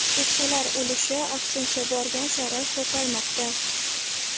Keksalar ulushi, aksincha, borgan sari ko‘paymoqda.